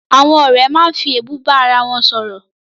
Àwọn ọ̀rẹ́ máa ń fi èébú bá arawọn sọ̀rọ̀